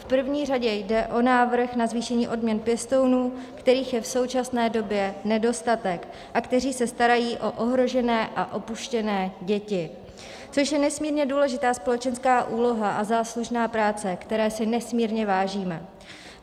V první řadě jde o návrh na zvýšení odměn pěstounů, kterých je v současné době nedostatek a kteří se starají o ohrožené a opuštěné děti, což je nesmírně důležitá společenská úloha a záslužná práce, které si nesmírně vážíme.